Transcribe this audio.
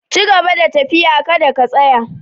Cigaba da tafiya, ka da ka tsaya!